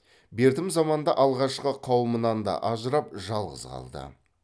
бертім заманда алғашқы қауымынан да ажырап жалғыз қалды